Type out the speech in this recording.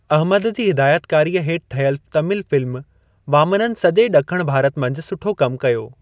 अहमद जी हिदायतकारीअ हेठि ठहियलु तमिल फ़िल्म वामनन सॼे ॾखण भारत मंझि सुठो कमु कयो।